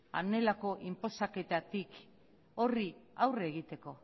honelako inposaketatik horri aurre egiteko